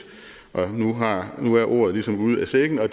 nu er ordet ligesom ude af sækken og